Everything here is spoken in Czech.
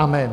Amen!